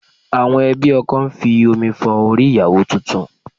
Àwọn ẹbí ọkọ ń fi omi fọ orí ìyàwó tuntun